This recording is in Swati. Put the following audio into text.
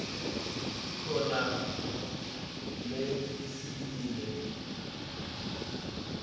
kukhona leticinile